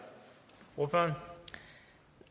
for